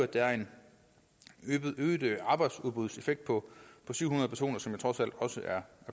der er en øget arbejdsudbudseffekt på syv hundrede personer som jo trods alt også er